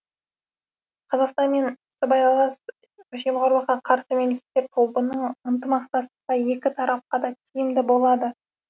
қазақстан мен сыбайлас жемқорлыққа қарсы мемлекеттер тобының ынтымақтастығы екі тарапқа да тиімді болады